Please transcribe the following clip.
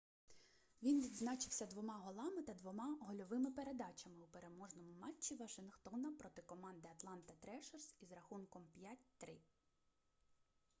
він відзначився 2 голами та 2 гольовими передачами у переможному матчі вашингтона проти команди атланта трешерс із рахунком 5:3